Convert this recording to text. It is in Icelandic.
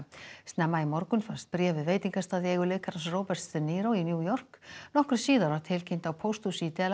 snemma í morgun fannst bréf við veitingastað í eigu leikarans Roberts de í New York nokkru síðar var tilkynnt á pósthúsi í